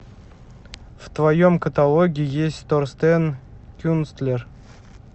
в твоем каталоге есть торстен кюнстлер